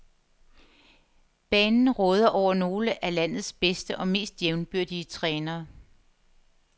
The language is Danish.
Banen råder over nogle af landets bedste og mest jævnbyrdige trænere.